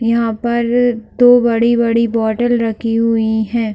यहाँ पर दो बड़ी-बड़ी बोटल रखी हुई है।